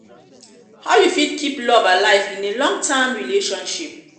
how you fit keep love alive in a long-term relationship?